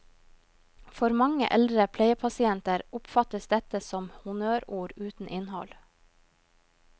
For mange eldre pleiepasienter oppfattes dette som honnørord uten innhold.